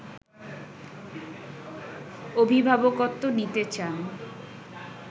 অভিভাবকত্ব নিতে চান